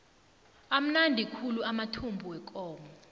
amnandi khulu amathumbu wekomo